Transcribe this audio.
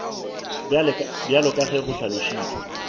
bjalo ka ge go hlalošitšwe